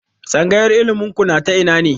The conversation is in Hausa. Tsangayar ilimin ku na ta ina ne?